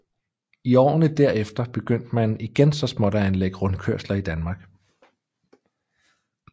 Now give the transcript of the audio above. I årene derefter begyndte man igen så småt at anlægge rundkørsler i Danmark